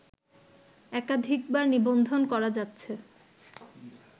একাধিকবার নিবন্ধন করা যাচ্ছে